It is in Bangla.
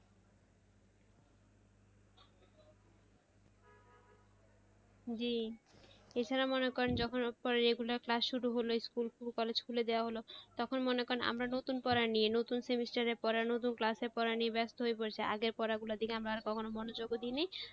জি, এছাড়া মনে করেন যখন regular class শুরু হলে school college খুলে যাওয়া মানে তখন মনে করেন আমরা নতুন পড়া নিয়ে নতুন semester এর পড়া নিয়ে নতুন class এর পড়া নিয়ে ব্যাস্ত হয়ে পড়েছি আগের পড়া গুলার দিকে আমরা কখনো মনোযোগ ও দেইনি আর,